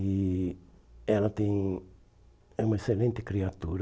E ela tem é uma excelente criatura.